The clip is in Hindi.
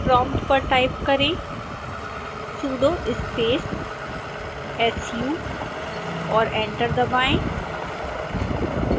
प्रोम्प्ट पर टाइप करें sudo space su और एंटर दबाएं